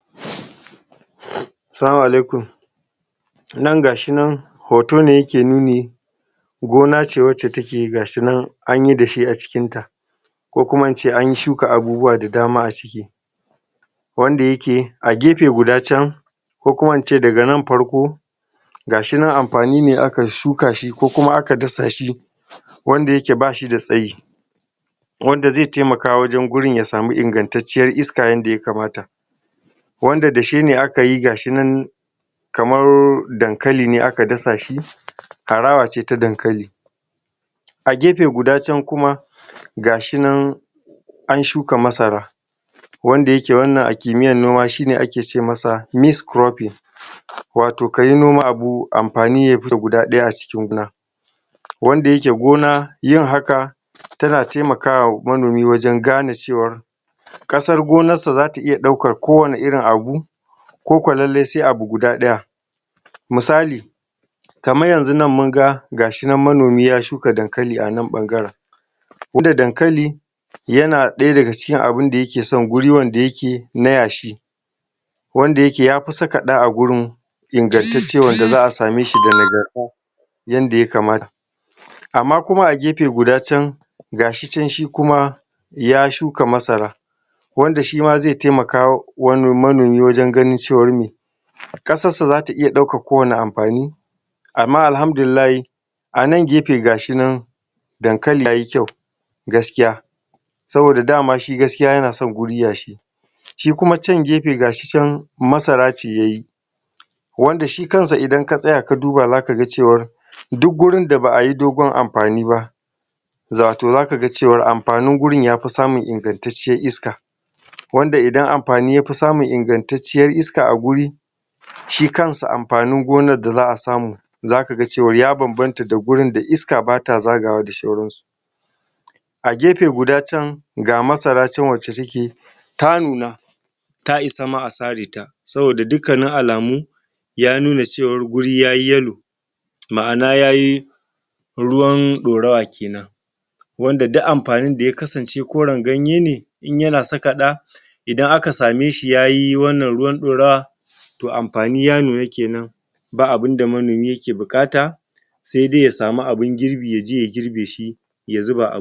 Salamu Alaikum nan gashinan hoto ne yake nuni gonace wace take gashinan anyi dashe acikin ta Kokuma ince an shuka abubuwa da dama aciki wanda yake a gefe guda can Kokuma ince daga nan farko gashinan anfani ne aka shuka shi kokuma aka dasa shi Wanda yake bashi da tsayi wanda zai taimaka gurin yasama ingantacciyar iska yanda ya kamata Wanda dashene akayi gashinan kamar dankali ne aka dasa shi harawace ta dankali A gefe guda can kuma gashinan an shuka masara wanda yake a Kimiyya noma aki ce masa mixed cropping Wato ka noma abu anfani yafita guda daya a cikin gona Wanda yake gona yin haka tana taimakawa manomi Wajen gane ciwan Kasar gonan sa zata iya daukan kowane irin abu kuku lalle sai abu daya misali kaman yanzunan munga gashinan manomi ya shuka dankali ana ɓangaren koda dankali yana ɗaya daga cikin abinda yake san gurin wada yake na yashi Wanda yake yafi saka ɗa agurin ingantaccen wanda za'a sameshi da nagarta yanda ya kamata Amma kuma a gefe guda can gashi can shi kuma ya shuka masara wanda shima zai taimaka wa manomi Wajen gane cewa me Ƙasarsa zata iya daukar kowani anfani amma Alhamdullahi anan gefe gashinan dankali yaye kyau gaskiya Saboda damashi gaskiya yanason guri yashi shikuma can gefe gashi can masarace yaye Wandashi kansa idan ka tsaya kaduba zakaga cewan duk gurin da ba'a ye dogon anfani ba Wato zakaga cewan anfani gurin yafi samun ingantaccen iska Wanda idan anfani yafi samun ingantaccen iska aguri shikansa anfani gona da za'a samu Zakaga cewar ya bambanta da gurin da iska bata zagawa da sauransu Agefe guda can ga madara can wace take ta nuna ta isama a sareta Saboda dukkani alamu yamuna cewar guri yaye yellow maana yayi ruwan ɗorawa kinan Wanda duk anfani da ya kasance koran ganyene inyana saka ɗa idan aka sameshi yaye wannan ruwan ɗorawa To anfani ya nuna kinan ba abunda manomi ke bukata sedai yasamu abin girbi yaje ya girbishi yazuba a buhu.